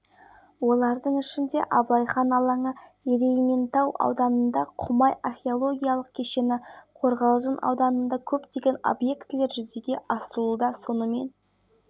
семинар барысында рухани жаңғыру бағдарламасында көрсетілген мәселелерді жер-жерлерде іске асыратындарға ақыл-кеңестер берілді аймақта адамнан тұратын сарапшылар